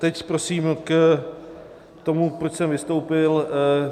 Teď prosím k tomu, proč jsem vystoupil.